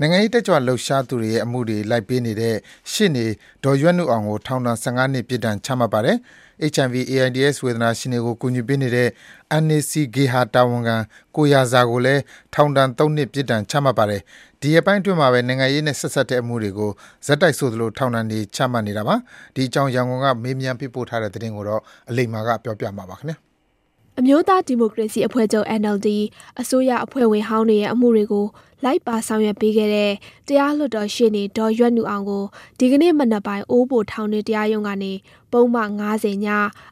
နိုင်ငံရေးတက်ကြွလှုပ်ရှားသူတွေရဲ့အမှုတွေလိုက်ပေးနေတဲ့ ရှေ့နေဒေါ်ရွက်နုအောင်ကို ထောင်ဒဏ် ၁၅ နှစ် ပြစ်ဒဏ်ချမှတ်ပါတယ်။ HIV/AIDS ဝေဒနာရှင်တွေကိုကူညီပေးနေတဲ့ NAC ဂေဟာတာဝန်ခံ ကိုရာဇာကိုလည်း ထောင်ဒဏ် ၃ နှစ် ပြစ်ဒဏ်ချမှတ်ပါတယ်။ ဒီရက်ပိုင်းအတွင်းမှာပဲ နိုင်ငံရေးနဲ့ဆက်စပ်တဲ့အမှုတွေကို ဆက်တိုက်ဆိုသလို ထောင်ဒဏ်တွေ ချမှတ်နေတာပါ။ ဒီအကြောင်း ရန်ကုန်က မေးမြန်းပေးပို့တဲ့သတင်းကို အလိမ္မာက တင်ပြပေးထားပါတယ်။ အမျိုးသားဒီမိုကရေစီအဖွဲ့ချုပ် NLD အစိုးရအဖွဲ့ဝင်ဟောင်းတွေရဲ့အမှုတွေကို လိုက်ပါဆောင်ရွက် ပေးခဲ့တဲ့တရားလွှတ်တော်ရှေ့နေ ဒေါ်ရွက်နုအောင်ကို ဒီကနေ့မနက်ပိုင်း အိုးဘိုထောင်တွင်း တရားရုံးကနေ ပုဒ်မ- ၅၀ (ည)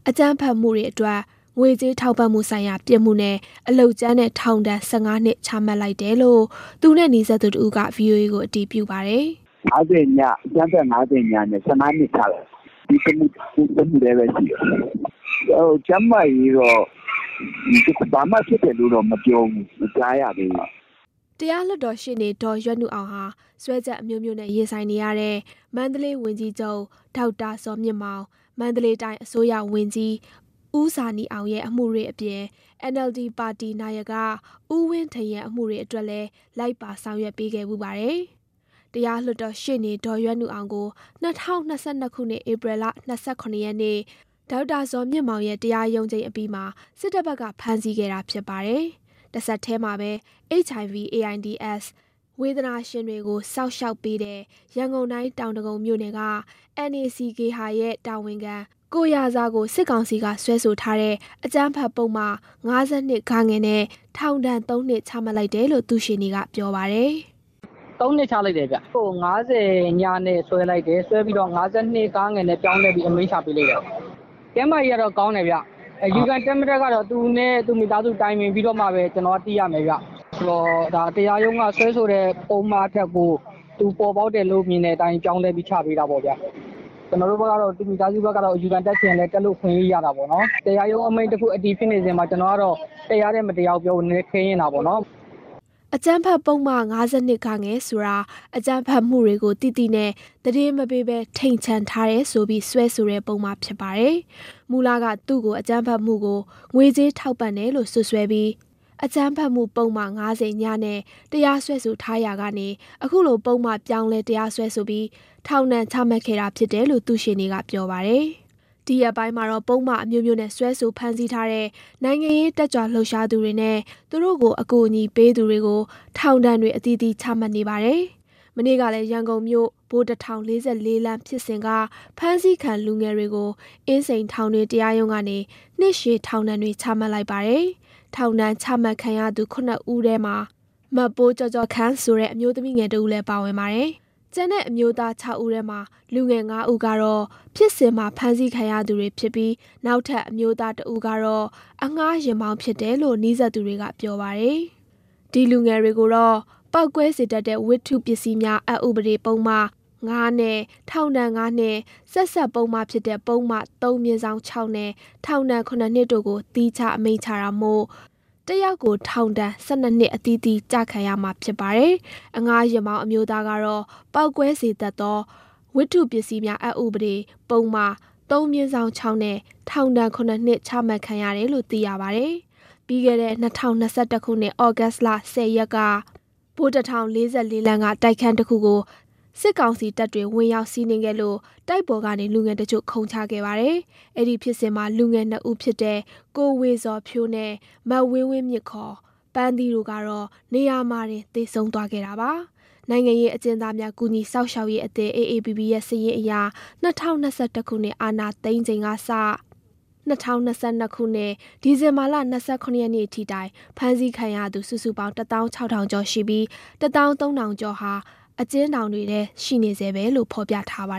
အကြမ်းဖက်လုပ်ရပ်အတွက် ငွေကြေး ထောက်ပံ့မှုဆိုင်ရာပြစ်မှုနဲ့ အလုပ်ကြမ်းနဲ့ ထောင်ဒဏ် ၁၅ နှစ် ချမှတ်လိုက်တယ်လို့ သူနဲ့နီးစပ်သူတဦးက ဗွီအိုအေကိုအတည်ပြုပါတယ်။ “၅၀-ည အကြမ်းဖက်ဥပဒေ ၅၀-ညနဲ့ ၁၅ နှစ်ချလိုက်ပါတယ်။ စွဲထားတာတော့ ဒီတမှုတည်းပဲ ရှိတယ်။ ကျန်းမာရေးတော့ဘာမှဖြစ်တယ် မကြားရသေးပါဘူး။” တရားလွှတ်တော်ရှေ့နေ ဒေါ်ရွက်နုအောင်ဟာ စွဲချက်အမျိုးမျိုးနဲ့ရင်ဆိုင်နေရတဲ့ မန္တလေးဝန်ကြီးချုပ်ဒေါက်တာဇော်မြင့်မောင်၊ မန္တလေးတိုင်းအစိုးရဝန်ကြီး ဦးဇာနည်အောင်ရဲ့ အမှုတွေအပြင် NLD ပါတီနာယက ဦးဝင်းထိန်ရဲ့ အမှုတွေအတွက်လည်း လိုက်ပါ ဆောင်ရွက်ပေးခဲ့တဲ့ ရှေ့နေဖြစ်ပါတယ်။ တရားလွှတ်တော်ရှေ့နေ ဒေါ်ရွက်နုအောင်ကို ၂၀၂၂ ဧပြီ ၂၇ ရက်နေ့က ဒေါက်တာဇော်မြင့်မောင်ရဲ့ တရားရုံးချိန်းအပြီးမှာ စစ်တပ်ဘက်က ဖမ်းဆီးခဲ့တာဖြစ်ပါတယ်။ တဆက်တည်းမှာပဲ HIV/AIDS ဝေဒနာရှင်တွေကို စောင့်ရှောက်ပေးတဲ့ ရန်ကုန်တိုင်း၊ တောင်ဒဂုံမြို့နယ်က NAC ဂေဟာရဲ့တာဝန်ခံ ကိုရာဇာကို စစ်ကောင်စီကစွဲဆိုထားတဲ့ အကြမ်းဖက်ပုဒ်မ ၅၂-ဂ နဲ့ ထောင်ဒဏ် ၃ နှစ် ချမှတ်လိုက်တယ်လို့ သူ့ရှေ့နေကပြောပါတယ်။ “၃ နှစ်ချမှတ်လိုက်တယ်။ သူ့ကို ၅၀-ညနဲ့ စွဲတယ်။ နောက် ၅၂-ဂ နဲ့ ပြောင်းလဲအမိန့်ချမှတ်လိုက်တာပါ။ ကျန်းမာရေးကတော့ကောင်းတယ်ဗျ။ အယူခံတက်မတက်ကတော့ သူနဲ့သူ့မိသားစု တိုင်ပင်ပြီးမှသိရမယ်။ တရားရုံးကစွဲဆိုတဲ့ပုဒ်မကို သူမြင်တဲ့အတိုင်း ပြောင်းလဲချပေးတာပေါ့ဗျာ။ သူ့မိသားစုဝင်တွေအနေနဲ့ အယူခံတက်ချင် တက်လို့ရတာပေါ့။ တရားရုံးအမိန့် အတည်ဖြစ်နေချိန်မှာ ကျနော့်ဘက်က တရားတယ် မတရားဘူးပြောဖို့ခက်တာပေါ့ဗျာ။” အကြမ်းဖက်ပုဒ်မ ၅၂-ဂ ဆိုတာ အကြမ်းဖက်မှုတွေကိုသိသိနဲ့ သတင်းမပေးဘဲ ထိန်ချန်ထားတယ်ဆိုပြီး စွဲဆိုတဲ့ ပုဒ်မဖြစ်ပါတယ်။ မူလက သူ့ကို အကြမ်းဖက်မှုကို ငွေကြေးထောက်ပံ့တယ်လို့စွပ်စွဲပြီး အကြမ်းဖက်မှုပုဒ်မ ၅၀-ည နဲ့တရားစွဲဆိုထားရာကနေ အခုလိုပုဒ်မ ပြောင်းလဲတရားစွဲဆိုပြီး ထောင်ဒဏ်ချမှတ်ခဲ့တာဖြစ်တယ်လို့ သူ့ရှေ့နေက ပြောပြပါတယ်။ ဒီရက်ပိုင်းမှာတော့ ပုဒ်မအမျိုးမျိုးနဲ့ စွဲဆိုဖမ်းဆီးထားတဲ့ နိုင်ငံရေးတက်ကြွလှုပ်ရှားသူတွေနဲ့ သူတို့ကိုအကူအညီပေးသူတွေကို ထောင်ဒဏ်တွေ အသီးသီးချမှတ်နေပါတယ်။ မနေ့ကလည်း ရန်ကုန်မြို့၊ ဗိုလ်တထောင် ၄၄ လမ်းဖြစ်စဉ်က ဖမ်းဆီးခံ လူငယ်တွေကိုအင်းစိန်ထောင်တွင်းတရားရုံးကနေ နှစ်ရှည်ထောင်ဒဏ်တွေ ချမှတ် လိုက်ပါတယ်။ ထောင်ဒဏ်ချမှတ်ခံရသူ ၇ ဦးထဲ မပိုးကျော့ကျော့ခန့် ဆိုတဲ့ အမျိုးသမီးငယ်တဦးလည်းပါဝင်ပါတယ်။ ကျန်တဲ့ အမျိုးသား ၆ ဦးထဲ လူငယ် ၅ ဦးက ဖြစ်စဉ်မှာဖမ်းဆီးခံရသူတွေဖြစ်ပြီး နောက်ထပ်အမျိုးသား ၁ ဦးကတော့ အငှားယာဉ်မောင်းဖြစ်တယ်လို့ နီးစပ်သူတွေကပြောပါတယ်။ ဒီလူငယ်တွေကိုတော့ ပေါက်ကွဲစေတတ်သော ဝတ္ထုပစ္စည်းများ အက်ဥပဒေပုဒ်မ ၅ နဲ့ ထောင်ဒဏ် ၅ နှစ် ၊ ဆက်စပ်ပုဒ်မဖြစ်တဲ့ ပုဒ်မ ၃/၆ နဲ့ ထောင်ဒဏ် ၇ နှစ် တို့ကို သီးခြားအမိန့်ချတာမို့ တယောက်ချင်းစီကို ထောင်ဒဏ် ၁၂ နှစ် အသီးသီး ကျခံရမှာဖြစ်ပါတယ်။ အငှားယာဉ်မောင်း အမျိုးသားကတော့ ပေါက်ကွဲစေတတ်သော ဝတ္ထုပစ္စည်းများ အက်ဥပဒေ ပုဒ်မ ၃/၆ နဲ့ ထောင်ဒဏ် ၇ နှစ်ချမှတ်ခံရတယ်လို့ သိရပါတယ်။ ပြီးခဲ့တဲ့ ၂၀၂၁ ခုနှစ် သြဂုတ် ၁၀ ရက်က ဗိုလ်တထောင် ၄၄ လမ်းက တိုက်ခန်းတခုကို စစ်ကာင်စီတပ်တွေဝင်ရောက်စီးနင်းခဲ့လို့ တိုက်ပေါ်ကနေ လူငယ်တချို့ ခုန်ချခဲ့ပါတယ်။ အဲဒီဖြစ်စဉ်မှာလူငယ် ၂ ဦးဖြစ်တဲ့ ကိုဝေဇော်ဖြိုး နဲ့ မဝေဝေမြင့် (ခေါ်) ပန်းသီးတို့ကတော့ နေရာမှာတင် သေဆုံးသွားခဲ့တာပါ။ နိုင်ငံရေးအကျဉ်းသားများ ကူညီစောင့်ရှောက်ရေးအသင်း အေအေပီပီရဲ့ စာရင်းအရ ၂၀၂၁ ခုနှစ် အာဏာသိမ်းချိန်မှာ ၂၀၂၂ ခုနှစ် ဒီဇင်ဘာလ ၂၇ ရက်နေ့ထိတိုင် ဖမ်းဆီးခံရသူ စုစုပေါင်း တသောင်းခြောက်ထောင်ကျော်ရှိပြီး တသောင်းသုံးထောင်ကျော်ဟာ အကျဉ်းထောင်တွေဆဲ ရှိနေဆဲပဲလို့ ဖော်ပြပါ